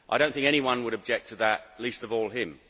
I do not think anyone would object to that, least of all him.